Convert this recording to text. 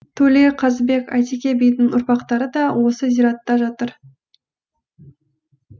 төле қазыбек әйтеке бидің ұрпақтары да осы зиратта жатыр